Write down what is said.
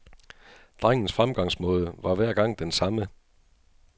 Drengens fremgangsmåde var hver gang den samme.